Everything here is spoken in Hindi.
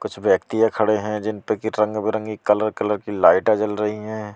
कुछ व्यक्तियां खड़े हैं जिनपे की रंग बिरंगी कलर कलर की लाइटा जल रही है।